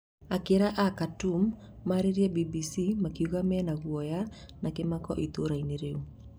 Aikari a Khartoum nĩmarairie BBC makiuga menaguoya na kĩmako itũra-inĩ rĩu